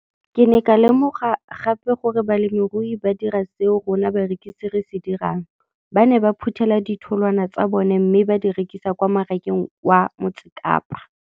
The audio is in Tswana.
Ke ne ka lemoga gape gore balemirui ba dira seo rona barekisi re se dirang, ba ne ba phuthela ditholwana tsa bona mme ba di rekisa kwa marakeng wa Motsekapa.